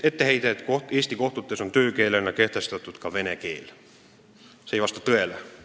Etteheide, et Eesti kohtutes on töökeelena kehtestatud ka vene keel, ei vasta tõele.